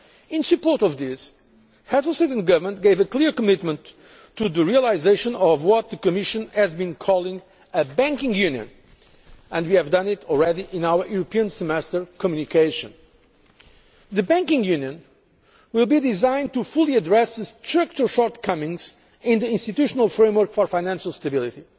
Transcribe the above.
In support of this, Heads of State and Government gave a clear commitment to the realisation of what the Commission has been calling a banking union' and we have done it already in our European semester communication. The banking union' will be designed to fully address the structural shortcomings in the institutional framework for financial stability.